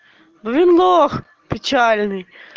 ну и лох печальный